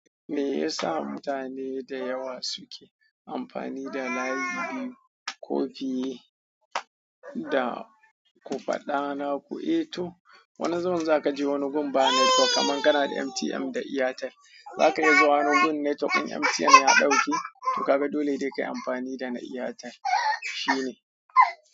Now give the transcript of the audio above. Me yasa mutane da yawa suke amfani da layi biyu ko fiye da ku faɗa na ku? Eh to wani zaman za ka je wani gun ba netwok kaman kana da MTN da Airtel, za kayi zuwa wani gun network ɗin MTN ya ɗauke to kaga dole dai ka yi amfani da na Airtel. Shi ne.